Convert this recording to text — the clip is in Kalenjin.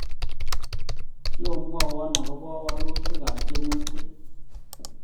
Sio mwaiwo akobo walutik ab temutik